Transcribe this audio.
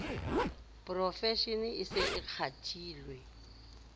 profeshene e se e kgathile